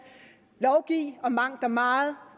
lovgive om mangt og meget